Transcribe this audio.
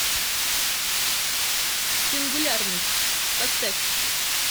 сингулярность поставь